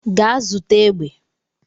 Gaa zụta egbe